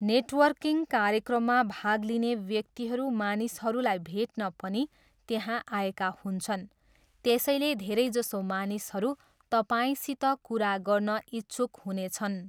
Networking कार्यक्रममा भाग लिने व्यक्तिहरू मानिसहरूलाई भेट्न पनि त्यहाँ आएका हुन्छन्, त्यसैले धेरैजसो मानिसहरू तपाईँसित कुरा गर्न इच्छुक हुनेछन्।